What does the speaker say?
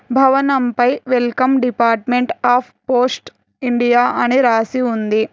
భవనం పై welcome department of post India అని రాసి ఉంది.